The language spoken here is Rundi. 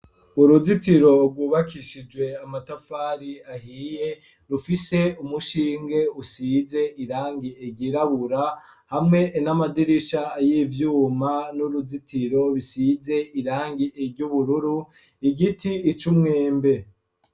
Uruzitiro rwubakishijwe amatafari ahiye rufise umushinge usize irangi erirabura hamwe n'amadirisha ay'ivyuma n'uruzitiro bisize irangi eryoubururu igiti ico umwembe.